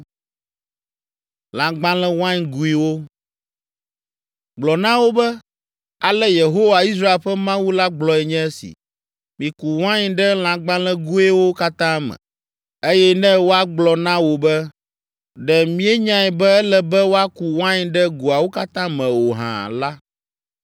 “Gblɔ na wo be, ‘Ale Yehowa, Israel ƒe Mawu la gblɔe nye esi: Miku wain ɖe lãgbalẽgoawo katã me.’ Eye ne woagblɔ na wò be, ‘Ɖe míenyae be ele be woaku wain ɖe goawo katã me o hã?’ la,